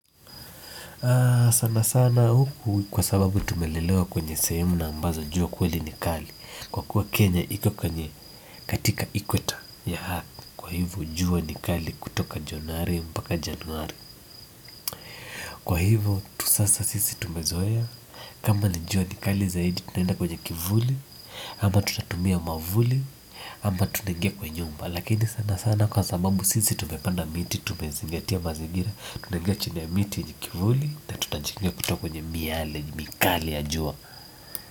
Sana sana huku kwa sababu tumelelewa kwenye sehemu na ambazo jua kweli ni kali. Kwa kuwa Kenya iko kwenye katika ikweta ya earth. Kwa hivyo jua ni kali kutoka Januari mpaka Januari. Kwa hivyo tu sasa sisi tumezoea kama ni jua kikali zaidi tunaenda kwenye kivuli ama tutatumia mwavuli, ama tunaingia kwa nyumba. Lakini sana sana kwa sababu sisi tumepanda miti, tumezingatia mazigira tunaingia chini ya miti yenye kivuli na tunajikinga kutoka kwenye miale, mikali ya jua.